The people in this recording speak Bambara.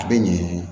A bɛ ɲɛ